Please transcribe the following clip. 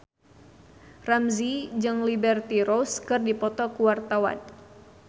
Ramzy jeung Liberty Ross keur dipoto ku wartawan